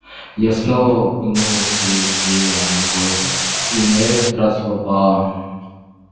я снова пнула сергея ногой и на этот раз попала